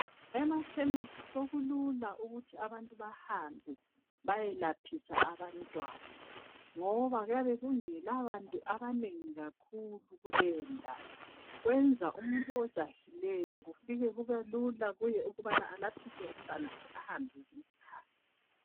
Emakhemesi sokulula ukuthi abantu bahambe beyelaphisa abantwana ngoba kuyabe kungela bantu abanengi kakhulu kuleyo ndawo. Kwenza umuntu ojahileyo kufike kube lula kuye ukubana alaphise umntwanakhe ahambe ngesikhathi.